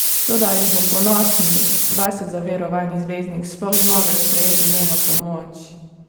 Toda ali bo ponosni, vase zaverovani zvezdnik sploh zmogel sprejeti njeno pomoč?